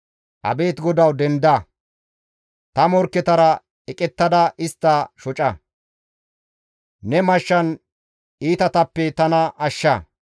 Abeet GODAWU! Denda. Ta morkketara eqettada istta shoca; ne mashshan iitatappe tana ashsha.